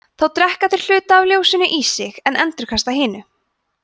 þá drekka þeir hluta af ljósinu í sig en endurkasta hinu